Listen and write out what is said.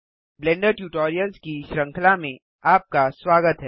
blender tutorials की श्रृंखला में आपका स्वागत है